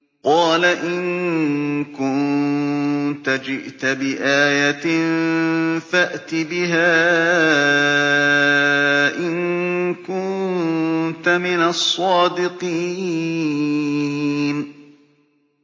قَالَ إِن كُنتَ جِئْتَ بِآيَةٍ فَأْتِ بِهَا إِن كُنتَ مِنَ الصَّادِقِينَ